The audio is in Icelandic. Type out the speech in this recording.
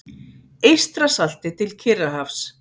Eystrasalti til Kyrrahafs.